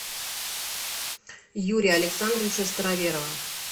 юрия александровича староверова